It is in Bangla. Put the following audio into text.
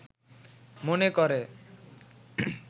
মনে করে